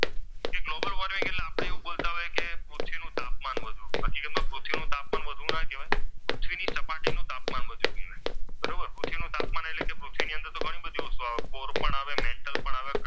આપણે એવું બોલતા હોઈએ કે પૃથ્વીનો તાપમાન વધ્યું. ખરેખર પૃથ્વીનું તાપમાન વધવું ના કહેવાય પણ પૃથ્વીની સપાટી નો તાપમાન વધ્યું કહેવાય બરોબર પૃથ્વીનું તાપમાન એટલે કે પૃથ્વીની અંદર તો ઘણી બધી વસ્તુઓ આવે પોર પણ આવે મેન્ટલ પણ આવે.